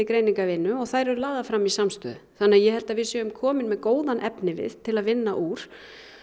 greiningarvinnu og þær eru lagðar fram í samstöðu þannig ég held að við séum komin með góðan efnivið til að vinna úr